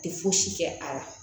Tɛ fosi kɛ a la